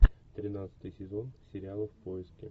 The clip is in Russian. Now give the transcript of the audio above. тринадцатый сезон сериала в поиске